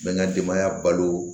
N bɛ n ka denbaya balo